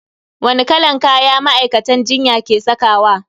Wani kalan kaya ma'aikatan jinya ke sakawa?